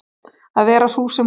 Að vera sú sem hún var.